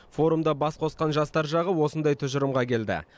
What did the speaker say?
форумда бас қосқан жастар жағы осындай тұжырымға келді